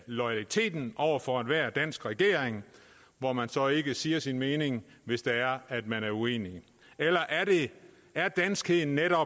loyaliteten over for enhver dansk regering hvor man så ikke siger sin mening hvis det er at man er uenig eller er danskhed netop